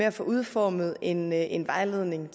at få udformet en en vejledning